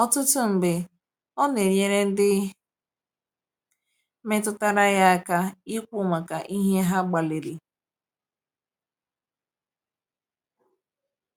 Ọtụtụ mgbe, ọ na-enyere ndị metụtara ya aka ikwu maka ihe ha gbalịrị.